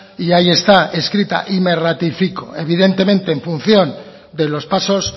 y ahí está escrita y me ratifico evidentemente en función de los pasos